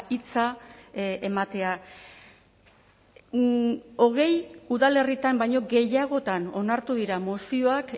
hitza ematea hogei udalerritan baino gehiagotan onartu dira mozioak